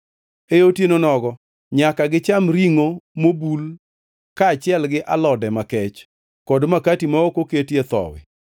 E otieno nogo nyaka gicham ringʼo mobul kaachiel gi alode makech kod makati ma ok oketie thowi.